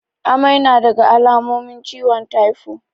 Amai nadaga alamomin ciwon taifo